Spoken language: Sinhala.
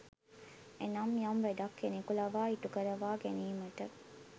එනම් යම් වැඩක් කෙනෙකු ලවා ඉටුකරවා ගැනීමට